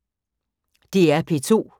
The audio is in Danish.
DR P2